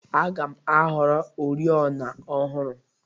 Aga m ahọrọ oriọna ọhụrụ.